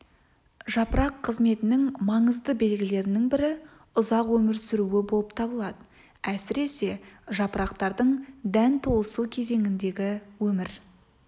жапырақ қызметінің маңызды белгілерінің бірі ұзақ өмір сүруі болып табылады әсіресе жапырақтардың дән толысу кезеңіндегі өмір